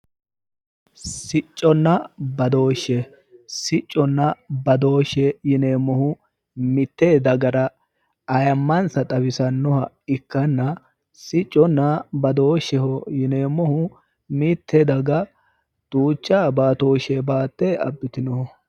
sicconnna badooshshe sicconna badooshshe yineemmohu mitte dagara ayiimmansa xawisannoha ikkanna sicconna badooshsheho yineemmohu mitte daga duucha baatooshshe baatte abbitinoho.